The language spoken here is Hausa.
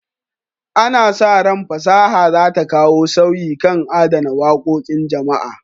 Ana sa ran fasaha za ta kawo sauyi kan adana wakokin jama'a.